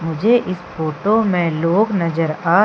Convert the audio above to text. मुझे इस फोटो मे लोग नज़र आ--